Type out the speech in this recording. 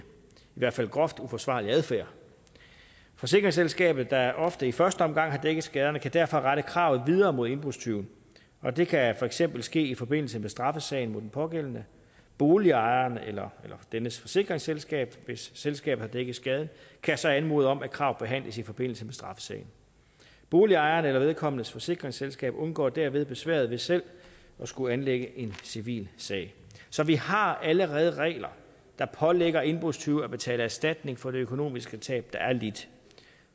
hvert fald groft uforsvarlig adfærd forsikringsselskabet der ofte i første omgang har dækket skaderne kan derfor rette kravet videre mod indbrudstyven og det kan for eksempel ske i forbindelse med straffesagen mod den pågældende boligejeren eller dennes forsikringsselskab hvis selskabet har dækket skaden kan så anmode om at kravet behandles i forbindelse med straffesagen boligejeren eller vedkommendes forsikringsselskab undgår derved besværet ved selv at skulle anlægge en civilsag så vi har allerede regler der pålægger indbrudstyve at betale erstatning for det økonomiske tab der er lidt